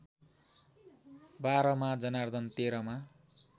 बाह्रमा जनार्दन तेह्रमा